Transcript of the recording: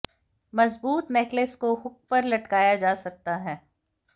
मज़बूत नेकलेस को हुक पर लटकाया जा सकता है